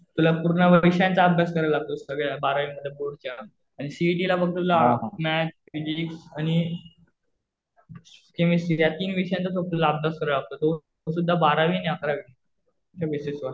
तुला पूर्ण विषयांचा अभ्यास करावा लागतो सगळ्या बारावी मध्ये बोर्डच्या. आणि सीइटीला फक्त तुला मॅथ्स, फिजिक्स आणि केमिस्ट्री या तीन विषयांचाच आपल्याला अभ्यास करावा लागतो. तो सुध्दा बारावी आणि अकरावीच्या बेसिस वर.